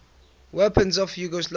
weapons of yugoslavia